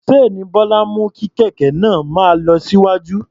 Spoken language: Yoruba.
Ṣéènì Bọ́lá mú kí kẹ̀kẹ́ náà máa lọ síwájú.